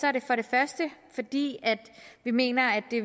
er det for det første fordi vi mener at det